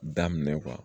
Daminɛ